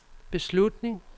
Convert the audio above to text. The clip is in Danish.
beslutning